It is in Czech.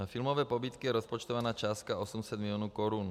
Na filmové pobídky je rozpočtována částka 800 milionů korun.